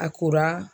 A kora